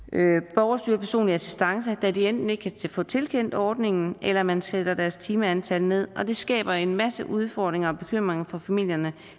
borgerstyret personlig assistance da de enten ikke kan få tilkendt ordningen eller man sætter deres timeantal ned og det skaber en masse udfordringer og bekymringer for familierne